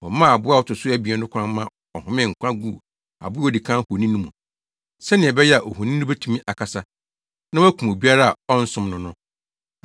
Wɔmaa aboa a ɔto so abien no kwan ma ɔhomee nkwa guu aboa a odi kan honi no mu, sɛnea ɛbɛyɛ a ohoni no betumi akasa, na wakum obiara a ɔnsom no no.